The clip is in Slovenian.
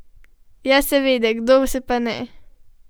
Ja seveda, kdo se pa ne?